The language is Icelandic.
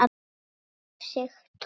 Þar er nú Sigtún.